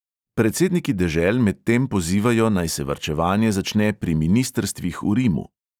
Predsedniki dežel medtem pozivajo, naj se varčevanje začne pri ministrstvih v rimu.